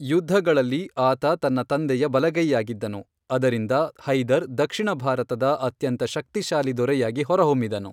ಯುದ್ಧಗಳಲ್ಲಿ ಆತ ತನ್ನ ತಂದೆಯ ಬಲಗೈಯಾಗಿದ್ದನು, ಅದರಿಂದ ಹೈದರ್ ದಕ್ಷಿಣ ಭಾರತದ ಅತ್ಯಂತ ಶಕ್ತಿಶಾಲಿ ದೊರೆಯಾಗಿ ಹೊರಹೊಮ್ಮಿದನು.